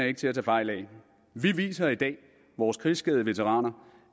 ikke til at tage fejl af vi viser i dag vores krigsskadede veteraner